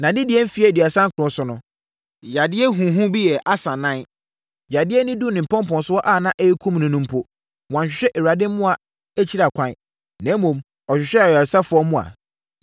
Nʼadedie mfeɛ aduasa nkron so no, yadeɛ huhu bi yɛɛ Asa nan. Yadeɛ no duruu ne mpɔmpɔnsoɔ a ɛreyɛ akum no mpo no, wanhwehwɛ Awurade mmoa akyiri ɛkwan, na mmom, ɔhwehwɛɛ ayaresafoɔ mmoa.